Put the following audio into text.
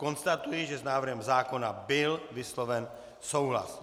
Konstatuji, že s návrhem zákona byl vysloven souhlas.